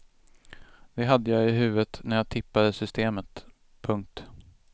Det hade jag i huvudet när jag tippade systemet. punkt